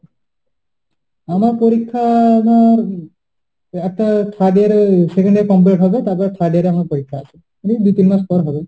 আমার পরীক্ষা ধর একটা third year এ second year complete হবে তারপর third year এ আমার পরীক্ষা আছে । দিয়ে দু তিন মাস পরে হবে।